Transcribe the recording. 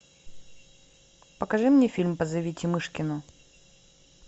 покажи мне фильм позовите мышкину